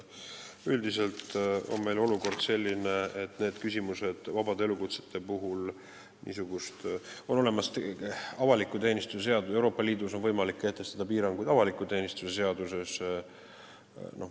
Üldiselt on olukord selline, et on olemas avaliku teenistuse seadus ja Euroopa Liidus on võimalik kehtestada piiranguid avaliku teenistuse seaduses.